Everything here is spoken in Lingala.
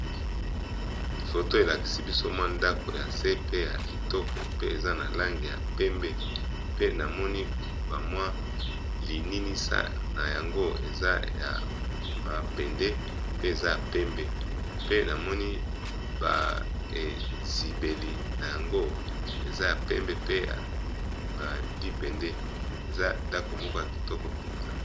Foto elakisi biso mwa ndako ya se pe ya kitoko pe eza na langi ya pembe, pe namoni ba mwa lininisa na yango eza ya mabende pe eza ya pembe pe namoni ba ezibeli na yango eza ya pembe pe ya libende eza ndako moko ya kitoko mpenza.